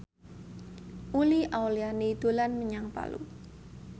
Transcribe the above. Uli Auliani dolan menyang Palu